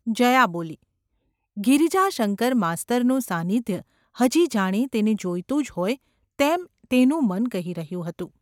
’ જયા બોલી. ગિરિજાશંકર માસ્તરનું સાન્નિધ્ય હજી જાણે તેને જોઈતું જ હોય તેમ તેનું મન કહી ૨હ્યું હતું.